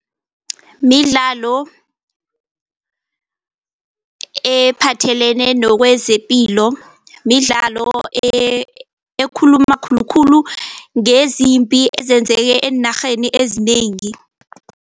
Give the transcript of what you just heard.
Midlalo ephathelene nokwezepilo midlalo ekhuluma khulukhulu ngezimpi ezenzeke eenarheni ezinengi.